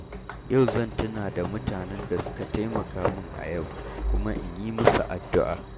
Yau zan tuna da mutanen da suka taimaka min a yau kuma in yi musu addu’a.